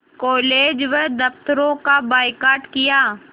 college व दफ़्तरों का बायकॉट किया